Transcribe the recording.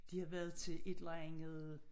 De havde været til et eller andet